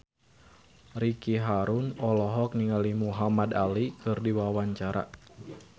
Ricky Harun olohok ningali Muhamad Ali keur diwawancara